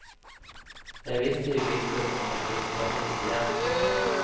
Jeg visste jo ikke om jeg kunne komme hit igjen.